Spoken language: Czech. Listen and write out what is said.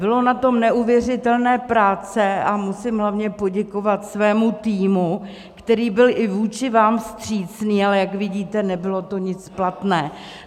Bylo na tom neuvěřitelné práce, a musím hlavně poděkovat svému týmu, který byl i vůči vám vstřícný, ale jak vidíte, nebylo to nic platné.